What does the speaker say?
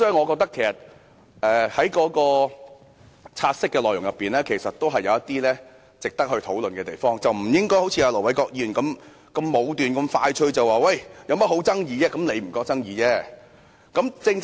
我覺得"察悉議案"確有值得討論的地方，我們不應該像盧偉國議員般武斷，即時下結論認為沒有爭議，其實只是他認為沒有爭議。